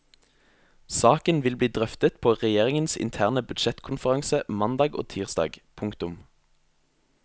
Saken vil bli drøftet på regjeringens interne budsjettkonferanse mandag og tirsdag. punktum